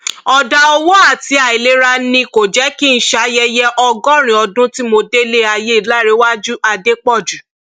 ọdà owó àti àìlera ni kò jẹ kí n ṣayẹyẹ ọgọrin ọdún tí mo délé ayé láǹrẹwájú adépọjù